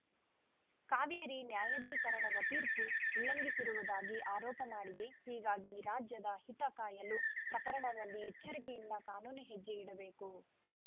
ಕಾವೇರಿ ನ್ಯಾಯಾಧೀಕರಣದ ತೀರ್ಪು ಉಲ್ಲಂಘಿಸಿರುವುದಾಗಿ ಆರೋಪ ಮಾಡಿದೆ ಹೀಗಾಗಿ ರಾಜ್ಯದ ಹಿತ ಕಾಯಲು ಪ್ರಕರಣದಲ್ಲಿ ಎಚ್ಚರಿಕೆಯಿಂದ ಕಾನೂನು ಹೆಜ್ಜೆ ಇಡಬೇಕು